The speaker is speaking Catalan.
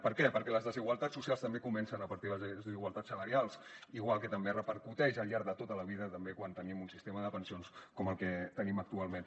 per què perquè les desigualtats socials també comencen a partir dels drets d’igualtat salarials igual que repercuteix al llarg de tota la vida també quan tenim un sistema de pensions com el que tenim actualment